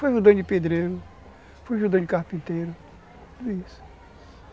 Fui ajudante de pedreiro, fui ajudante de carpinteiro, tudo isso.